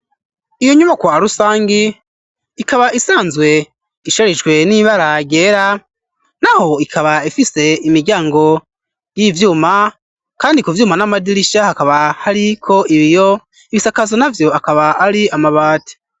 Iyo nyubakwa rusangi, ikaba isanzwe isharijwe n'ibara ryera, naho ikaba ifise imiryango y'ivyuma kandi ku vyuma n'amadirisha hakaba hariko ibiyo, ibisakazo navyo akaba ari amabati.